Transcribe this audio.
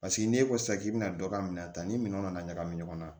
Paseke n'e ko sisan k'i bɛna dɔ ka minɛn ta ni minɛn nana ɲagami ɲɔgɔn na